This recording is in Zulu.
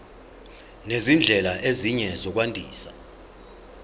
nezindlela ezinye zokwandisa